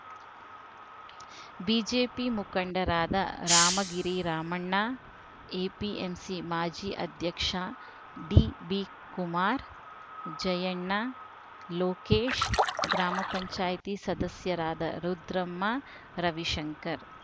BJP ಮುಖಂಡರಾದ Ramagiri Ramanna APMC ಮಾಜಿ ಅಧ್ಯಕ್ಷ ಡಿಬಿಕುಮಾರ್‌ ಜಯಣ್ಣ ಲೋಕೇಶ್‌ ಗ್ರಾಮ ಪಂಚಾಯತಿ ಸದಸ್ಯರಾದ ರುದ್ರಮ್ಮ ರವಿಶಂಕರ್‌